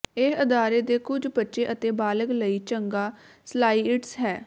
ਇਹ ਅਦਾਰੇ ਦੇ ਕੁਝ ਬੱਚੇ ਅਤੇ ਬਾਲਗ ਲਈ ਚੰਗਾ ਸਲਾਇਡਸ ਹੈ